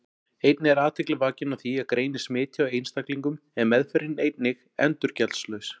Einnig er athygli vakin á því að greinist smit hjá einstaklingum er meðferðin einnig endurgjaldslaus.